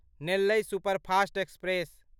Nellai superfast express